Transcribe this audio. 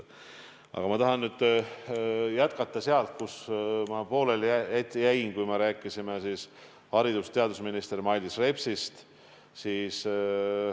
Aga ma tahan nüüd jätkata sealt, kus pooleli jäin, kui me rääkisime haridus- ja teadusminister Mailis Repsist.